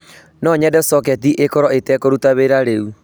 No nyende soketi ikorwo ite kũruta wira riu